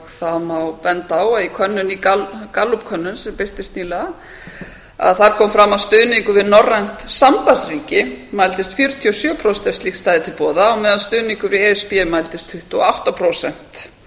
það má benda á að í gallup könnun sem birtist nýlega þar kom fram að stuðningur við norrænt sambandsríki mældist fjörutíu og sjö prósent ef slíkt stæði til boða á meðan stuðningur við e s b mældist tuttugu og átta prósent